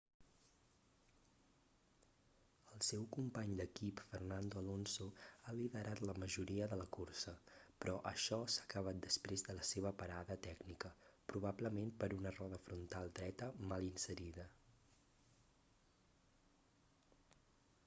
el seu company d'equip fernando alonso ha liderat la majoria de la cursa però això s'ha acabat després de la seva parada tècnica probablement per una roda frontal dreta mal inserida